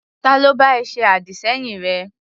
Ta ló bá ẹ ṣe àdì-sẹ́yìn rẹ?